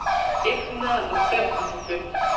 et hundrede og femoghalvfems